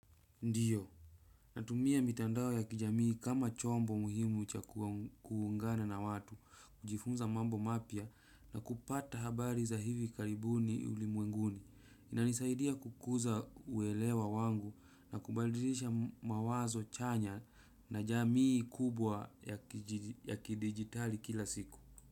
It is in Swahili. Ndiyo. Natumia mitandao ya kijamii kama chombo muhimu cha kuungana na watu, kujifunza mambo mapya na kupata habari za hivi karibuni ulimwenguni. Inanisaidia kukuza uelewa wangu na kubadilisha mawazo chanya na jamii kubwa ya kidigitali kila siku.